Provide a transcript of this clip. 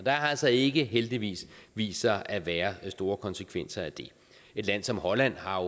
har altså ikke heldigvis vist sig at være store konsekvenser af det et land som holland har